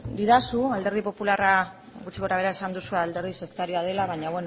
didazu alderdi popularra gutxi gora behera esan duzu alderdi sektarioa dela baina